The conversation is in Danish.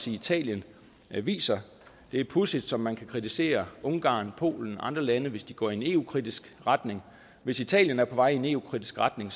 italien viser det er pudsigt som man kan kritisere ungarn polen og andre lande hvis de går i en eu kritisk retning hvis italien er på vej i en eu kritisk retning